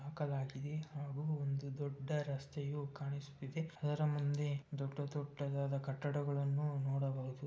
ಹಾಕಲಾಗಿದೆ ಒಂದು ದೊಡ್ಡ ರಸ್ತೆಯು ಕಾಣಿಸುತ್ತಿದೆ ಅದರ ಮುಂದೆ ದೊಡ್ಡ ದೊಡ್ಡದಾದ ಕಟ್ಟಡಗಳನ್ನು ನೋಡಬಹುದು.